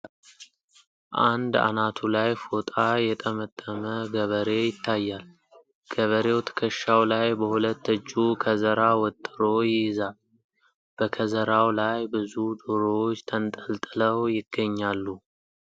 አንድ አናቱ ላይ ፎጣ የተመጠመ ገበሬ ይታያል ። ገበሬው ትክሻው ላይ በሁለት እጁ ከዘራ ወጥሮ ይይዛል ። በከዘራው ላይ ብዙ ዶሮዎች ተንጠልጥለው ይገኛሉ ።